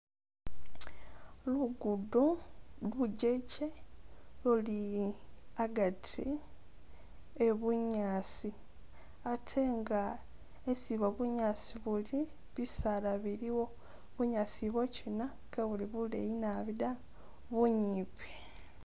Lugudo lujeche luli agati e'bunyaasi ate anga isi bunyaasi ubwo buli bisaala biliwo, bunyaasi ubwo kina kebuli bugaali naabi da bunyimpi.